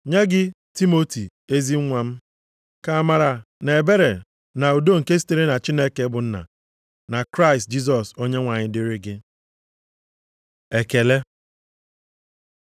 Nye gị Timoti, ezi nwa m. Ka amara, na ebere na udo nke sitere na Chineke bụ Nna, na Kraịst Jisọs Onyenwe anyị dịrị gị. Ekele